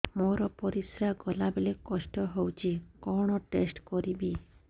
ମୋର ପରିସ୍ରା ଗଲାବେଳେ କଷ୍ଟ ହଉଚି କଣ ଟେଷ୍ଟ କରିବି